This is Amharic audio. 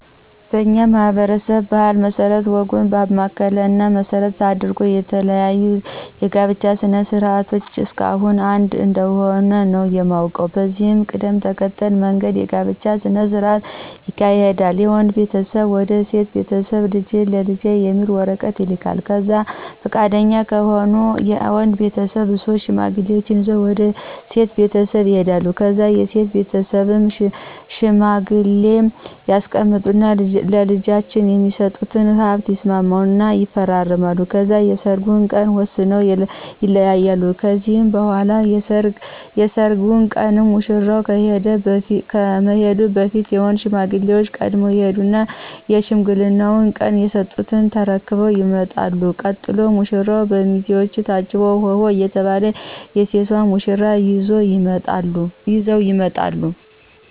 በኛ ማህበረሰብ ባህል መስረት ወጉን ባማከለ እና መሰረት አድርጎ የተለያዩ የጋብቻ ስነ ስርዓት እስካሁን አንድ እንደሆነ ነው የማውቀው። በዚህ ቅደም ተከተል መንገድ የጋብቻ ስነ ስርዓት ይካሄዳል የወንድ ቤተሰብ ወደ ሴት ቤተስብ ልጅህን ለልጄ የሚል ወረቀት ይልካል ከዛ ፍቃደኛ ከሆኑ የወድ ቤተሰብ ሶስት ሽማግሌ ይዞ ወደ ሴት ቤተሰብ ይሄዳሉ ከዛ የሴት ቤትስብም ሽማግሌ ያስቀምጡ እና ለልጄች የሚስጡትን ሀብት ይስማሙ እና ይፈራረማሉ ከዛ የሰርጉን ቀን ወስነው ይለያያሉ ከዚህ በኋላ የሰርጉ ቀን ሙሽራው ከመሄዱ በፊት የወንድ ሽማግሌዎች ቀድመው ይሄዱና የሽምግልናው ቀን የስጡትን ተርክበው ይመጣሉ ቀጥሎ ሙራው፣ በሚዜው ታጅቦ ሆሆ እየተባል የሴቷን ሙሽራ ይዘው ይመጣሉ።